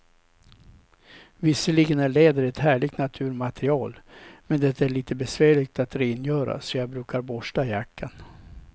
Visserligen är läder ett härligt naturmaterial, men det är lite besvärligt att rengöra, så jag brukar borsta jackan.